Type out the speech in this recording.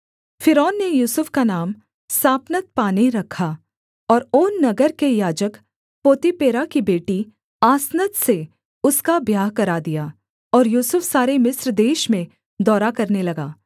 फ़िरौन ने यूसुफ का नाम सापनतपानेह रखा और ओन नगर के याजक पोतीपेरा की बेटी आसनत से उसका ब्याह करा दिया और यूसुफ सारे मिस्र देश में दौरा करने लगा